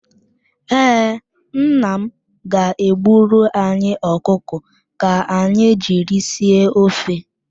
Ee, nna m ga-egburu anyị ọkụkọ ka anyị jiri sie ofe.